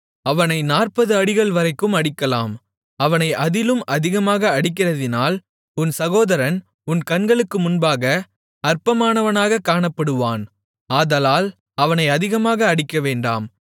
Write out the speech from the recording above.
அவனை நாற்பது அடிகள்வரைக்கும் அடிக்கலாம் அவனை அதிலும் அதிகமாக அடிக்கிறதினால் உன் சகோதரன் உன் கண்களுக்கு முன்பாக அற்பமானவனாக காணப்படுவான் ஆதலால் அவனை அதிகமாக அடிக்கவேண்டாம்